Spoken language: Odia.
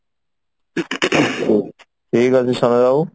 ଠିକ ଅଛି ବାବୁ